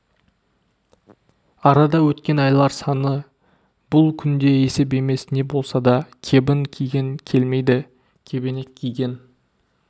арада өткен айлар саны бұл күнде есеп емес не болса да кебін киген келмейді кебенек киген